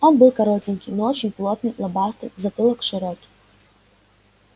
он был коротенький но очень плотный лобастый затылок широкий